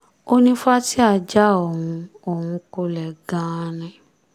ó ní fatia já òun òun kulẹ̀ gan-an ni